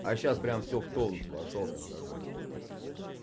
а я сейчас прямо всё в тонус вошёл прямо такой